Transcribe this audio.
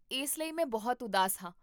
ਇਸ ਲਈ ਮੈਂ ਬਹੁਤ ਉਦਾਸ ਹਾਂ